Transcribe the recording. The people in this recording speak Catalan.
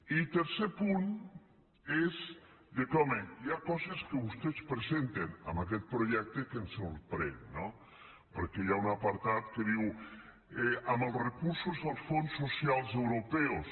i tercer punt és home hi ha coses que vostès presenten en aquest projecte que ens sorprenen no perquè hi ha un apartat que diu amb els recursos dels fons socials europeus